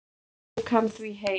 Ég tók hann því heim.